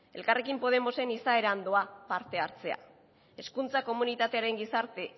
elkarrekin podemosen izaeran doa parte hartzea hezkuntza komunitatearen gizarte